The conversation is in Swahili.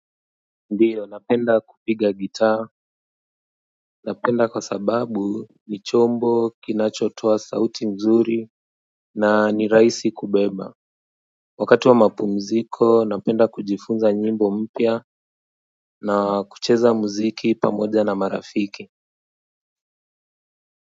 Ndiyo napenda kupiga gitaa napenda kwa sababu ni chombo kinachotoa sauti mzuri na ni rahisi kubeba wakati wa mapumziko napenda kujifunza nyimbo mpya na kucheza muziki pamoja na marafiki.